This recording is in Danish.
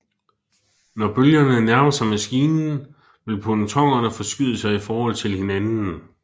Når bølgerne nærmer sig maskinen vil pontonerne forskyde sig i forhold til hinanden